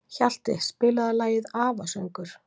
Hjalti, spilaðu lagið „Afasöngur“.